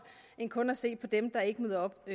end kun at se på dem der ikke møder op